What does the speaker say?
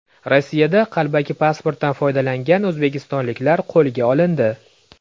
Rossiyada qalbaki pasportdan foydalangan o‘zbekistonliklar qo‘lga olindi.